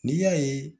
N'i y'a ye